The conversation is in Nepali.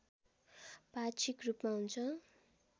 पाक्षिक रूपमा हुन्छ